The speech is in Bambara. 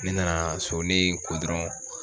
Ne nana so ne ko dɔrɔn.